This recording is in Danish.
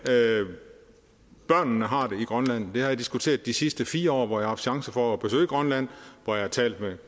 børnene har det i grønland det har jeg diskuteret de sidste fire år hvor jeg har haft chance for at besøge grønland og hvor jeg har talt med